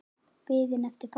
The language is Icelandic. Biðin eftir pabba.